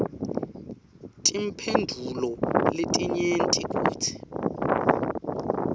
timphendvulo letinyenti kutsi